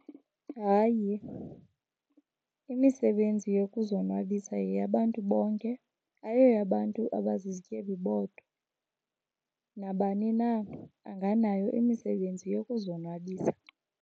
Hayi, imisebenzi yokuzonwabisa yeyabantu bonke, ayoyabantu abazizityebi bodwa. Nabani na anganayo imisebenzi yokuzonwabisa.